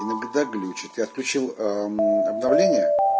иногда глючит я включил обновление